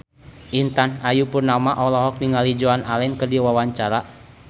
Intan Ayu Purnama olohok ningali Joan Allen keur diwawancara